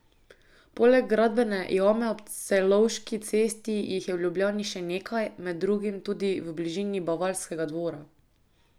Poleg gradbene jame ob Celovški cesti jih je v Ljubljani še nekaj, med drugim tudi v bližini Bavarskega dvora.